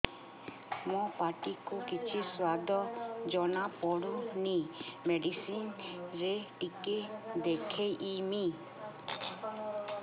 ମୋ ପାଟି କୁ କିଛି ସୁଆଦ ଜଣାପଡ଼ୁନି ମେଡିସିନ ରେ ଟିକେ ଦେଖେଇମି